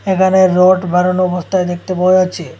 এখানে রোড বানানো অবস্থায় দেখতে পাওয়া যাচ্ছে।